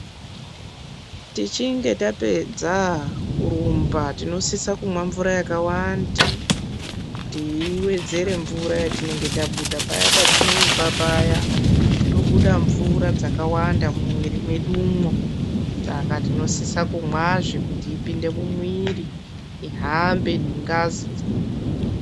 Tichinge tapedza kurumba ,tinosisa kumwa mvura yakawanda kuti iwedzere mvura yatinenge tabuda paya patinorumba paya tinobuda mvura dzakawanda mumwiri medumwo, saka tinosise kumwa zvekuti ipinde mumwiri ihambe nengazi.